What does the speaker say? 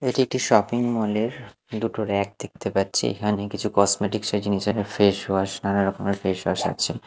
এটি একটি shopping mall -এর দুটো র‌্যাক দেখতে পাচ্ছি এখানে কিছু কসমেটিক্স -এর জিনিস এখানে ফেসওয়াশ নানা রকমের ফেসওয়াশ আছে।